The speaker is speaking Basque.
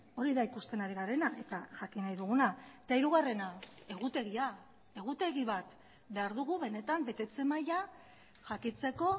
hori da ikusten ari garena eta jakin nahi duguna eta hirugarrena egutegia egutegi bat behar dugu benetan betetze maila jakiteko